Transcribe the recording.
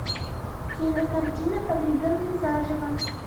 кинокартина погребенный заживо